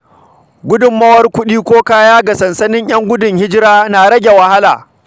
Gudummawar kuɗi ko kaya ga sansanin 'yan gudun hijira na rage wahala.